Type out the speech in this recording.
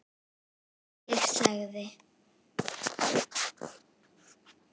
Ég sagði